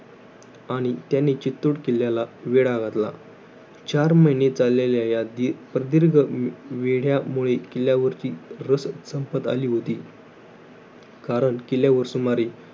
आणि त्यांनी, चीत्तुड किल्याला वेढा घातला. चार महिने चाललेल्या या दि~ प्रदीर्घ वे~ वेढ्यामुळे किल्यावरची रसद संपत आली होती. कारण किल्यावर सुमारे